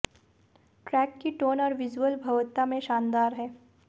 track की tone और visuals भव्यता में शानदार हैं